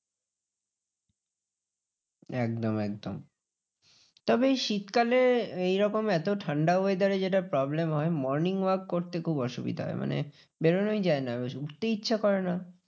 একদম একদম। তবে এই শীতকালে এইরকম এত ঠান্ডা weather এ যেটা problem হয় morning walk করতে খুব অসুবিধা হয়। মানে বেরোনোই যায় না। উঠতে ইচ্ছা করে না।